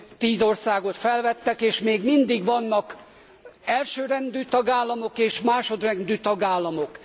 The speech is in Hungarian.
Tíz országot felvettek, és még mindig vannak elsőrendű tagállamok és másodrendű tagállamok.